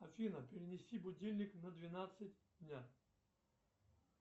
афина перенеси будильник на двенадцать дня